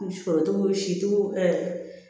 Sɔrɔ cogo siw